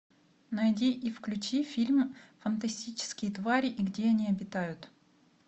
найди и включи фильм фантастические твари и где они обитают